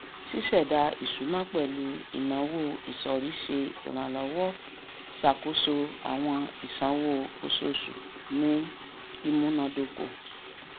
ṣíṣèdá ìṣúná pẹlú ináwó isọrí ṣe ìrànlọwọ ṣàkóso àwọn ìsanwó oṣooṣù ní ìmúnádókò